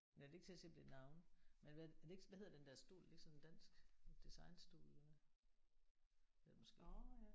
Nej det er ikke til at se om det er navne. Men hvad er det ikke sådan hvad hedder den der stol er det ikke sådan en dansk designstol eller hvad? Det er det måske